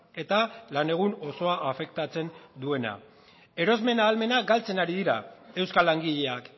eta lan egun osoa afektatzen duena erosmen ahalmena galtzen ari dira euskal langileak